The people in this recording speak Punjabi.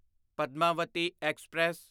ਪਦਮਾਵਤੀ ਐਕਸਪ੍ਰੈਸ